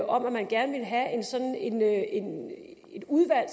om at man gerne ville have sådan et udvalg